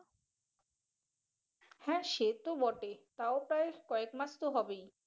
হ্যাঁ সে তো বটে তাও প্রায় কয়েক মাস তো হবেই।